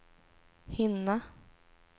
hinna